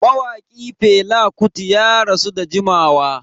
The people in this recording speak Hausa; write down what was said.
Mawaki Fela Kuti ya rasu da jimawa.